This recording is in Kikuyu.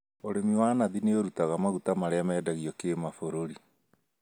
ũrĩmi wa nathi nĩũrutaga maguta marĩa mendagio kĩmabũrũri